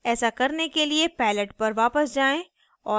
ऐसा करने के लिए palette पर वापस जाएँ